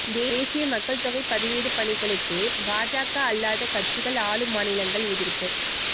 தேசிய மக்கள்தொகை பதிவேடு பணிகளுக்கு பாஜக அல்லாத கட்சிகள் ஆளும் மாநிலங்கள் எதிா்ப்பு